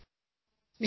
SOUND BITE